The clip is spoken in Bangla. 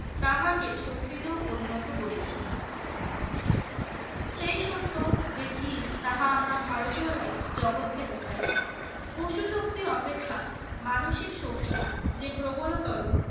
তাহাকে শক্তিতেও পরিণত করিবে। তাহা আমরা ভারতীয়রাই জগতকে দেখাইবো শক্তির অপেক্ষা মানসিক শক্তি যে প্রবল